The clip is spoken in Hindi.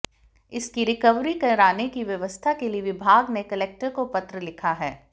इसकी रिकवरी कराने की व्यवस्था के लिये विभाग ने कलेक्टर को पत्र लिखा है